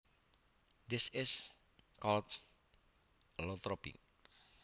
This is called allotropy